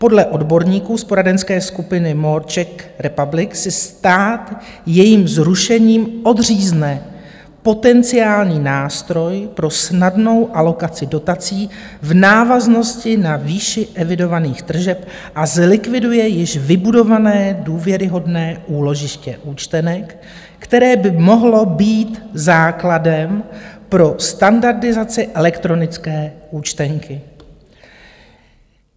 Podle odborníků z poradenské skupiny Moore Czech Republic si stát jejím zrušením odřízne potenciální nástroj pro snadnou alokaci dotací v návaznosti na výši evidovaných tržeb a zlikviduje již vybudované důvěryhodné úložiště účtenek, které by mohlo být základem pro standardizaci elektronické účtenky.